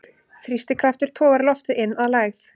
Þrýstikraftur togar loftið inn að lægð.